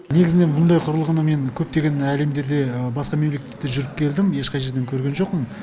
негізінен мұндай құрылғыны мен көптеген әлемдерде басқа мемлекеттерде жүріп келдім ешқай жерден көрген жоқпын